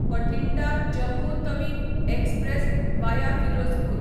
Bathinda Jammu Tawi express via Firozpur